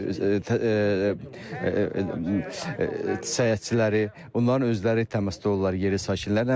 Səyahətçiləri, onların özləri təmasda olurlar yerli sakinlərlə.